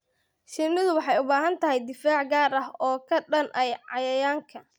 Shinnidu waxay u baahan tahay difaac gaar ah oo ka dhan ah cayayaanka.